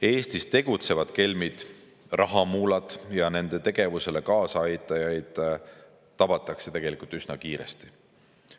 Eestis tegutsevad kelmid, rahamuulad ja nende tegevusele kaasaaitajad, tabatakse tegelikult üsna kiiresti.